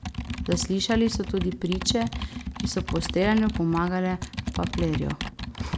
Zaslišali so tudi priče, ki so po streljanju pomagale Paplerju.